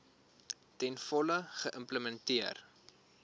ten volle geïmplementeer